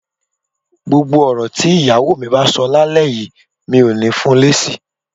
Gbogbo ọ̀rọ̀ tí ìyàwó mi bá sọ lálẹ́ yìí, mi ò ní fun lésì